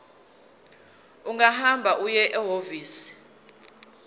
ungahamba uye ehhovisi